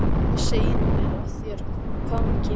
Hvað segirðu mér af þér, hvaðan kemur þú?